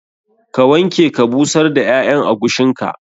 Ka wanke ka busar da ƴaƴan agushin ka.